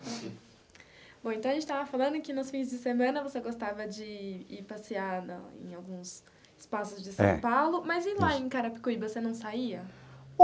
Bom, então a gente estava falando que nos fins de semana você gostava de ir ir passear na em alguns espaços de São Paulo, mas e lá em Carapicuíba, você não saía?